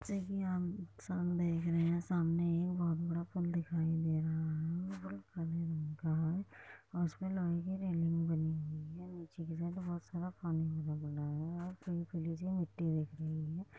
जैसे की आप साम देख रहे है सामनेएक बहुत बड़ा पुल दिखाई दे रहा हैऔर वो काले रंग का है और उसमे लोहे की रैलिंग बनी हुई है नीचे की तरफ बहुत सारा पानी रहा हैऔर पीली-पीली सी मट्टी दिख रही है।